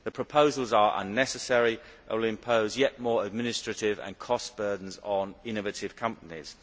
The proposals are unnecessary and will impose yet more administrative and cost burdens on innovative companies.